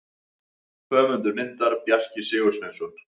Höfundur myndar: Bjarki Sigursveinsson.